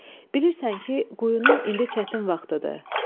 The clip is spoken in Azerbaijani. Bilirsən ki, quyunun indi çətin vaxtıdır.